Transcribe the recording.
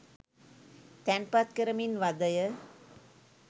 තැන්පත් කරමින් වදය